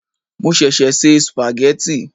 Mo ṣẹ̀ṣẹ̀ se sùpàgẹ́tì.